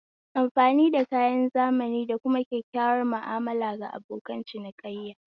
Amfani da kayan zamani da kuma kyakkyawar mu'amala ga abokan cinikayya